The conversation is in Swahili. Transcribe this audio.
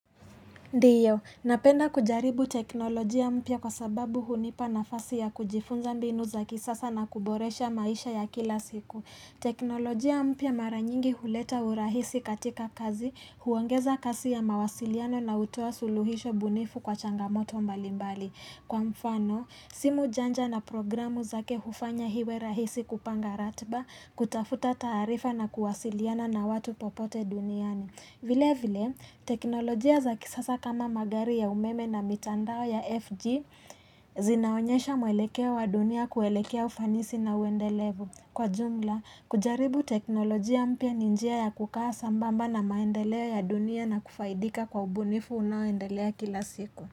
Ndiyo, napenda kujaribu teknolojia mpya kwa sababu hunipa nafasi ya kujifunza mbinu za kisasa na kuboresha maisha ya kila siku. Teknolojia mpya mara nyingi huleta urahisi katika kazi, huongeza kasi ya mawasiliano na hutoa suluhisho bunifu kwa changamoto mbalimbali. Kwa mfano, simu janja na programu zake hufanya iwe rahisi kupanga ratiba, kutafuta taarifa na kuwasiliana na watu popote duniani. Vile vile, teknolojia za kisasa kama magari ya umeme na mitandao ya FB, zinaonyesha mwelekeo wa dunia kuelekea ufanisi na uendelevu. Kwa jumla, kujaribu teknolojia mpya ni njia ya kukaa sambamba na maendeleo ya dunia na kufaidika kwa ubunifu unaoendelea kila siku.